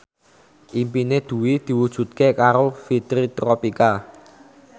impine Dwi diwujudke karo Fitri Tropika